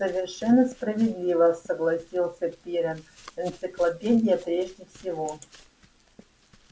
совершенно справедливо согласился пиренн энциклопедия прежде всего